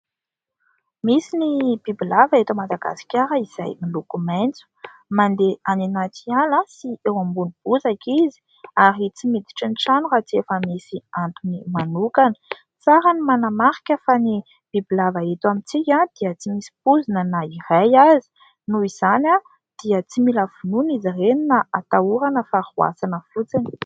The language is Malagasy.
Misy ny bibilava eto Madagasikara izay miloko maitso. Mandeha any anaty ala sy eo ambony bozaka izy ary tsy miditra ny trano raha tsy efa misy antony manokana. Tsara ny manamarika fa ny bibilava eto amintsika dia tsy misy poizina na iray aza noho izany dia tsy mila vonoina izy ireny na atahorana fa roasina fotsiny.